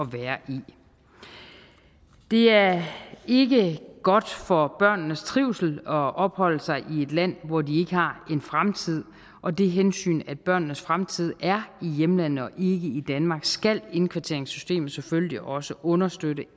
være i det er ikke godt for børnenes trivsel at opholde sig i et land hvor de ikke har en fremtid og det hensyn at børnenes fremtid er i hjemlandet og i danmark skal indkvarteringssystemet selvfølgelig også understøtte